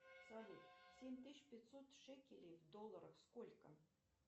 салют семь тысяч пятьсот шекелей в долларах сколько